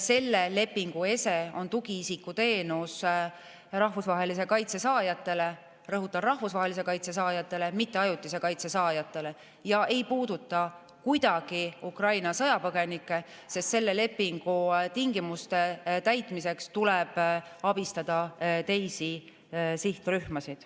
Selle lepingu ese on tugiisikuteenus rahvusvahelise kaitse saajatele – rõhutan: rahvusvahelise kaitse saajatele, mitte ajutise kaitse saajatele – ja see ei puuduta kuidagi Ukraina sõjapõgenikke, sest selle lepingu tingimuste täitmiseks tuleb abistada teisi sihtrühmasid.